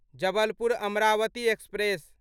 Jabalpur Amravati express